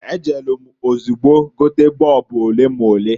E jelu m ozugbo gote boobu olemole.